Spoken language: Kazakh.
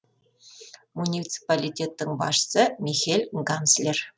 муниципалитеттің басшысы михель ганслер